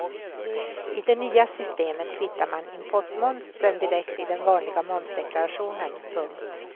I det nya systemet kvittar man importmomsen direkt i den vanliga momsdeklarationen. punkt